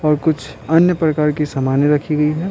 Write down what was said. और कुछ अन्य प्रकार की सामानें रखी गई हैं।